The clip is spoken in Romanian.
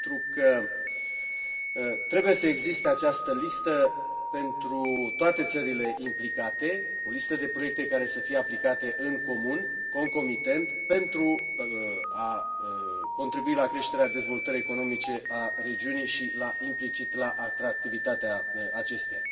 Pentru că trebuie să existe această listă pentru toate țările implicate, o listă de proiecte care să fie aplicate în comun, concomitent, pentru a contribui la creșterea dezvoltării economice a regiunii și, implicit, la atractivitatea acesteia.